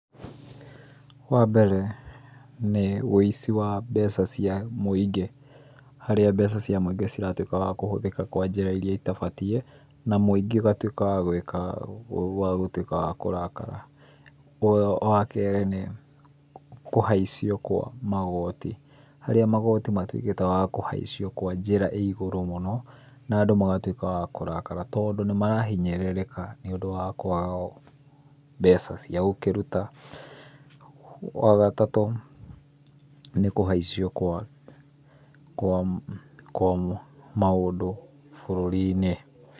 Wa mbere, nĩ wĩici wa mbeca cia mũingĩ. Harĩa mbeca cia mũingĩ ciratuĩka cia kũhũthĩka kwa njĩra irĩa citabatiĩ na mũingĩ ũgatuĩka wa wagwĩka, wagũtuĩka wa kũrakara. Wa kerĩ, nĩ kũhaicio kwa kwa magoti, harĩa magoti matuĩkĩte makũhaicio kwa njĩra ĩigũrũ mũno na andũ magatuĩka akũrakara, tondũ nĩmarahinyĩrĩrĩka nĩũndũ wa kwaga mbeca cia gũkĩruta. Wa gatatũ, nĩkũhaicio kwa kwa kwa maũndũ bũrũri-inĩ.